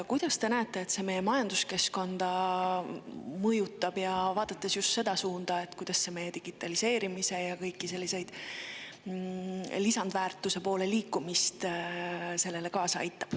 Kuidas te näete, et see meie majanduskeskkonda mõjutab, vaadates just seda, kuidas see aitab kaasa digitaliseerimisele ja kõigele sellele, mis lisandväärtuse poole liikuda aitab?